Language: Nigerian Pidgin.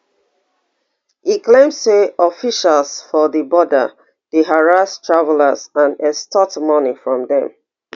e claim say officials for di border dey harass travellers and extort money from dem